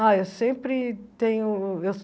Ah, eu sempre tenho... eu